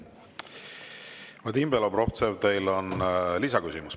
Vadim Belobrovtsev, teil on lisaküsimus.